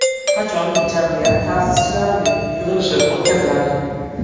Qachon jamiyat ta’sischilarining yig‘ilishi o‘tkaziladi?